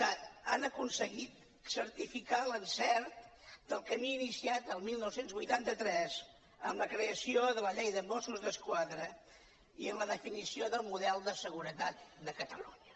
que han aconseguit certificar l’encert del camí iniciat el dinou vuitanta tres amb la creació de la llei de mossos d’esquadra i amb la definició del model de seguretat de catalunya